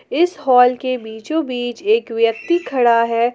इस हाल के बीचो बीच एक व्यक्ति खड़ा है।